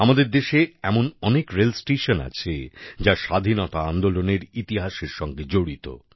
আমাদের দেশে এমন অনেক রেলস্টেশন আছে যা স্বাধীনতা আন্দোলনের ইতিহাসের সঙ্গে জড়িত